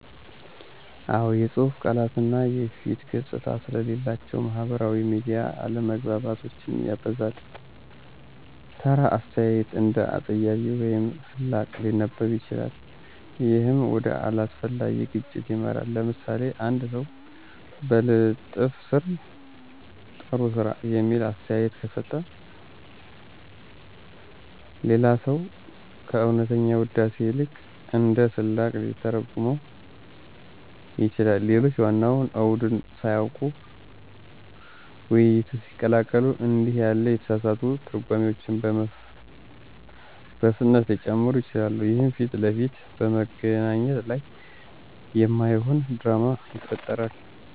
አዎ፣ የጽሁፍ ቃላት ቃና እና የፊት ገጽታ ስለሌላቸው ማህበራዊ ሚዲያ አለመግባባቶችን ያበዛል። ተራ አስተያየት እንደ አፀያፊ ወይም ስላቅ ሊነበብ ይችላል፣ ይህም ወደ አላስፈላጊ ግጭት ይመራል። ለምሳሌ፣ አንድ ሰው በልጥፍ ስር “ጥሩ ስራ” የሚል አስተያየት ከሰጠ፣ ሌላ ሰው ከእውነተኛ ውዳሴ ይልቅ እንደ ስላቅ ሊተረጉመው ይችላል። ሌሎች ዋናውን አውድን ሳያውቁ ውይይቱን ሲቀላቀሉ እንዲህ ያሉ የተሳሳቱ ትርጓሜዎች በፍጥነት ሊጨምሩ ይችላሉ፣ ይህም ፊት ለፊት በመገናኘት ላይ የማይሆን ድራማ ይፈጥራል።